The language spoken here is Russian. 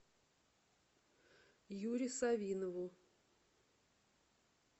юре савинову